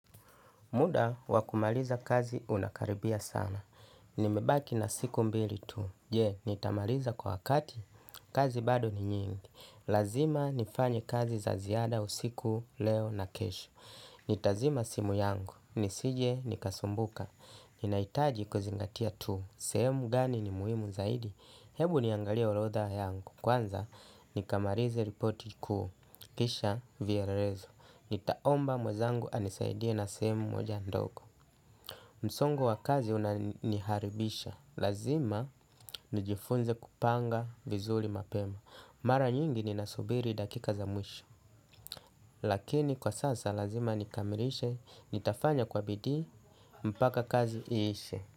Muda wa kumaliza kazi unakaribia sana. Nimebaki na siku mbili tu. Je, nitamaliza kwa wakati. Kazi bado ni nyingi. Lazima nifanye kazi za ziada usiku leo na kesho. Nitazima simu yangu. Nisije nikasumbuka. Ninahitaji kuzingatia tu. Sehemu gani ni muhimu zaidi. Hebu niangalie orodha yangu. Kwanza, nikamalize ripoti kuu. Kisha vielelezo. Nitaomba mwenzangu anisaidie na sehemu moja ndogo. Msongo wa kazi unaniharibisha. Lazima nijifunze kupanga vizuri mapema. Mara nyingi ni nasubiri dakika za mwisho. Lakini kwa sasa lazima nikamirishe. Nitafanya kwa bidii mpaka kazi iishe.